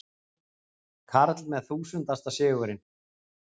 Karl með þúsundasta sigurinn